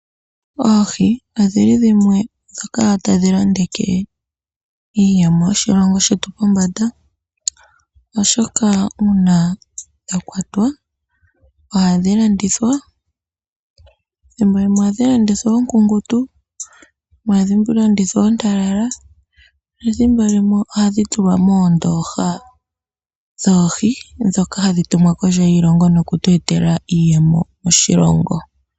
Oohi odhili dhimwe dhoka tadhi londeke iiyemo yoshilongo shetu pombanda, oshoka una dha kwatwa ohadhi landithwa. Thimbo limwe ohadhi landithwa oonkunkutu thimbo limwe ohadhi landithwa oontalala, nethimbo limwe ohadhi tulwa moondoha dhoohi dhoka hadhi tumwa kondje yoshilongo noku tu etela iiyemo yoshilongo.